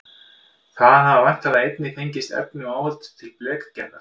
Þaðan hafa væntanlega einnig fengist efni og áhöld til blekgerðar.